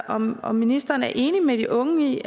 om om ministeren er enig med de unge i